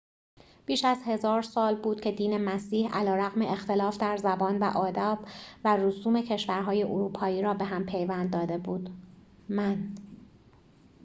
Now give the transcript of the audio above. بیش از هزار سال بود که دین مسیح علیرغم اختلاف در زبان و آداب و رسوم کشورهای اروپایی را به هم پیوند داده بود من